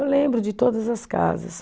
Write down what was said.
Eu lembro de todas as casas.